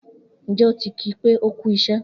Njẹ o ti ki pé o kú iṣẹ?